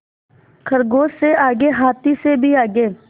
खरगोश से आगे हाथी से भी आगे